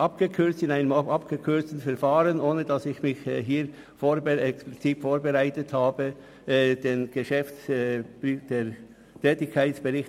Soviel kann ich in einem abgekürzten Verfahren aufgrund meiner fehlenden Vorbereitung wiedergeben.